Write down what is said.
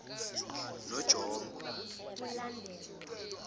nonjombo